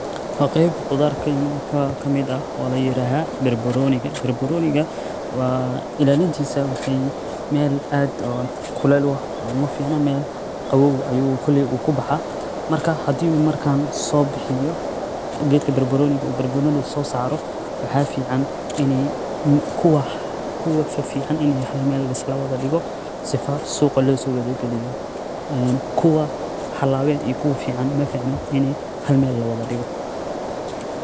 Wa qeyb qudar kamid ah oo laiyiraha barbaroni, barbsroni waxa lagailaliya meel ukulele oo koley meel qawoow ayu kubaxa, marka gedka barbaroni uu keno waxa muhiim ah inii kuwa fifican mel fican lageyo sifa suqa logeyo, kuwa xunun iyo kuwa fican maficno inii hal meel ah lawada digo.